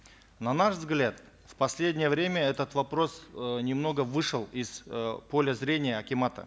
на наш взгляд в последнее время этот вопрос э немного вышел из э поля зрения акимата